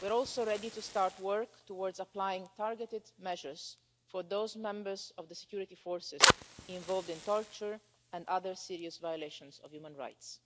we are also ready to start work towards applying targeted measures for those members of the security forces involved in torture and other serious violations of human rights.